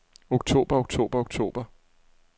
oktober oktober oktober